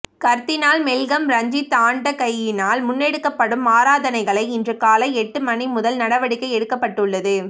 கர்தினால் Malcolm Ranjith ஆண்டகையினால் முன்னெடுக்கப்படும் ஆராதனைகளை இன்று காலை எட்டு மணிமுதல் நடவடிக்கை எடுக்கப்பட்டுள்ளது